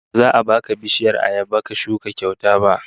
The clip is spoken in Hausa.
Ba za a baka bishiyar ayaba ka shuka kyauta ba